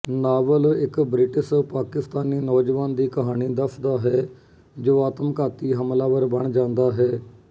novel ਇੱਕ British Pakistani ਨੌਜਵਾਨ ਦੀ ਕਹਾਣੀ ਦੱਸਦਾ ਹੈ ਜੋ ਆਤਮਘਾਤੀ ਹਮਲਾਵਰ ਬਣ ਜਾਂਦਾ ਹੈ